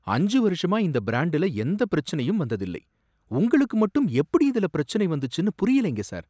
அஞ்சு வருஷமா இந்த பிராண்டுல எந்தப் பிரச்சினையும் வந்ததில்லை. உங்களுக்கு மட்டும் எப்படி இதுல பிரச்சினை வந்துச்சுன்னு புரியலைங்க சார்.